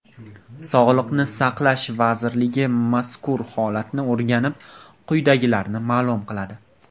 Sog‘liqni saqlash vazirligi mazkur holatni o‘rganib, quyidagilarni ma’lum qiladi .